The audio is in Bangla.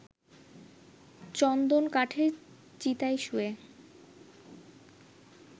চন্দন কাঠের চিতায শুয়ে়